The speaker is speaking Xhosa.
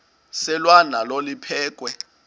selwa nalo liphekhwe